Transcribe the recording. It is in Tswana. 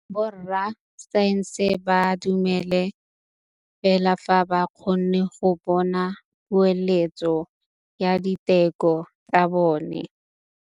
Borra saense ba dumela fela fa ba kgonne go bona poeletsô ya diteko tsa bone.